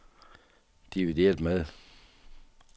divideret med